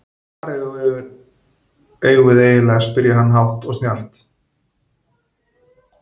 Hvar erum við eiginlega spurði hann hátt og snjallt.